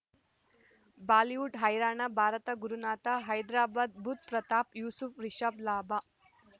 Bollywood ಹೈರಾಣ ಭಾರತ ಗುರುನಾಥ ಹೈದರಾಬಾದ್ ಬುಧ್ ಪ್ರತಾಪ್ ಯೂಸುಫ್ ರಿಷಬ್ ಲಾಭ